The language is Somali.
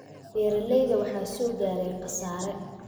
Beeralayda waxaa soo gaaray khasaare